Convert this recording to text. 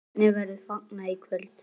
Hvernig verður fagnað í kvöld?